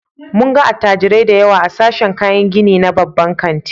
Mun ga attajirai da yawa a sashen kayan gini na babban kanti.